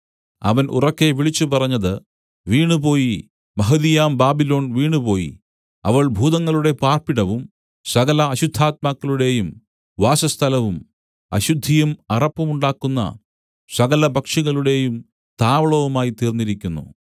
അവൻ ഉറക്കെ വിളിച്ചുപറഞ്ഞത് വീണുപോയി മഹതിയാം ബാബിലോൺ വീണുപോയി അവൾ ഭൂതങ്ങളുടെ പാർപ്പിടവും സകല അശുദ്ധാത്മാക്കളുടെയും വാസസ്ഥലവും അശുദ്ധിയും അറപ്പുമുണ്ടാക്കുന്ന സകലപക്ഷികളുടെയും താവളവുമായിത്തീർന്നിരിക്കുന്നു